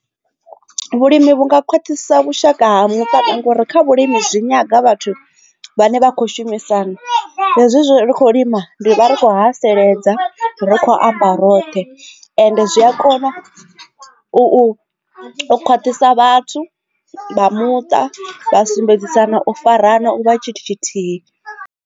Vhulimi vhunga khwaṱhisa vhushaka ha muṱa ngori kha vhulimi zwi nyanga vhathu vhane vha khou shumisana hezwo ri kho lima ndi vha ri kho ha sedza ri kho amba roṱhe ende zwi a kona u khwaṱhisa vhathu vha muṱa vha sumbedzisana u farana u nga tshithu tshithihi.